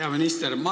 Hea minister!